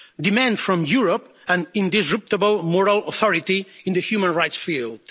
demand from Europe an indestructible moral authority in the human rights field.